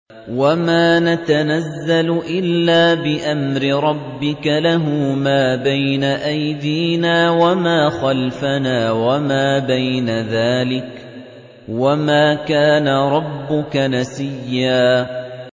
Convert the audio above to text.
وَمَا نَتَنَزَّلُ إِلَّا بِأَمْرِ رَبِّكَ ۖ لَهُ مَا بَيْنَ أَيْدِينَا وَمَا خَلْفَنَا وَمَا بَيْنَ ذَٰلِكَ ۚ وَمَا كَانَ رَبُّكَ نَسِيًّا